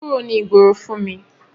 Kúrò ní ìgboro fún mi!